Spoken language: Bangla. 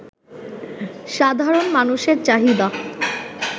সাধারণ মানুষের চাহিদা